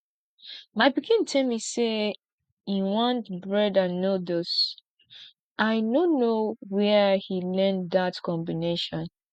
my pikin tell me say he want bread and noodles i no know where he learn dat combination